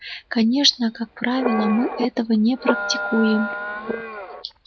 конечно как правило мы этого не практикуем